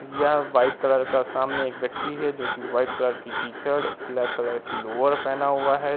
यह एक white colour का व्यक्ति है। जोकि वाईट टीशर्ट ब्लेक कलर की लोवर पहना हुआ है।